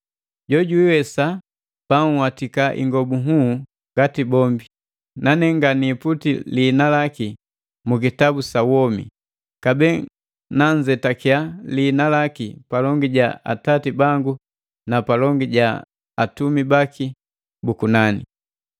“Jo jwiiwesa banhwatika ingobu nhuu ngati bombi, nane nga niiputi lihina laki mu kitabu sa womi, kabee nanzetakiya liina laki palongi ja Atati bangu na palongi ja atumi baki bu kunani.”